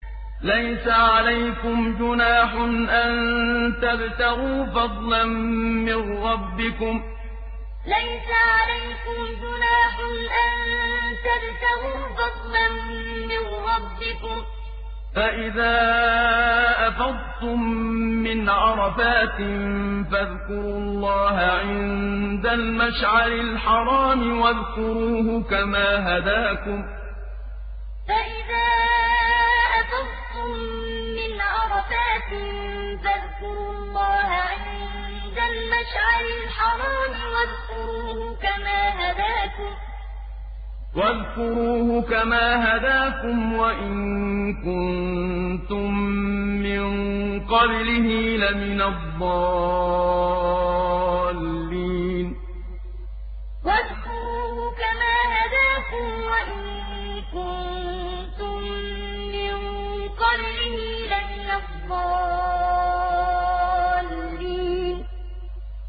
لَيْسَ عَلَيْكُمْ جُنَاحٌ أَن تَبْتَغُوا فَضْلًا مِّن رَّبِّكُمْ ۚ فَإِذَا أَفَضْتُم مِّنْ عَرَفَاتٍ فَاذْكُرُوا اللَّهَ عِندَ الْمَشْعَرِ الْحَرَامِ ۖ وَاذْكُرُوهُ كَمَا هَدَاكُمْ وَإِن كُنتُم مِّن قَبْلِهِ لَمِنَ الضَّالِّينَ لَيْسَ عَلَيْكُمْ جُنَاحٌ أَن تَبْتَغُوا فَضْلًا مِّن رَّبِّكُمْ ۚ فَإِذَا أَفَضْتُم مِّنْ عَرَفَاتٍ فَاذْكُرُوا اللَّهَ عِندَ الْمَشْعَرِ الْحَرَامِ ۖ وَاذْكُرُوهُ كَمَا هَدَاكُمْ وَإِن كُنتُم مِّن قَبْلِهِ لَمِنَ الضَّالِّينَ